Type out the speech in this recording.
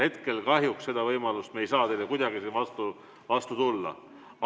Hetkel kahjuks seda võimalust ei ole ja me ei saa teile kuidagi vastu tulla.